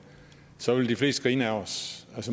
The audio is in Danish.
så ville de fleste grine ad os